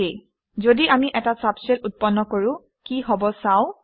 যদি আমি এটা ছাবশেল উৎপন্ন কৰোঁ কি হব চাও আহক